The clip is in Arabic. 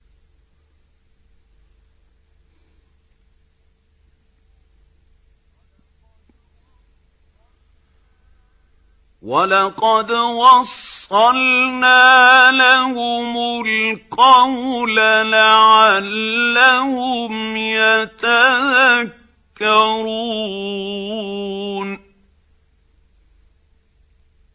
۞ وَلَقَدْ وَصَّلْنَا لَهُمُ الْقَوْلَ لَعَلَّهُمْ يَتَذَكَّرُونَ